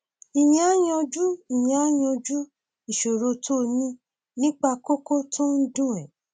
ìyẹn á yanjú ìyẹn á yanjú ìṣòro tó o ní nípa kókó tó ń dùn ẹ